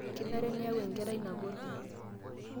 kenare niyaku enkerai nagol